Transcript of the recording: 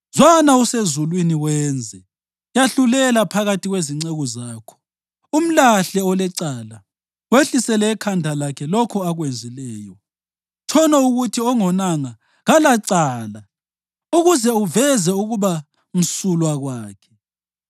zwana usezulwini wenze. Yahlulela phakathi kwezinceku zakho, umlahle olecala, wehlisele ekhanda lakhe lokho akwenzileyo. Tshono ukuthi ongonanga kalacala ukuze uveze ukuba msulwa kwakhe.